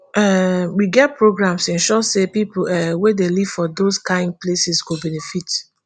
um we get programs to ensure say pipo um wey dey live for those kain places go benefit